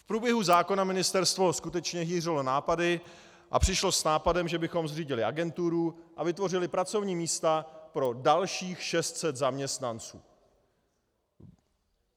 V průběhu zákona ministerstvo skutečně hýřilo nápady a přišlo s nápadem, že bychom zřídili agenturu a vytvořili pracovní místa pro dalších 600 zaměstnanců.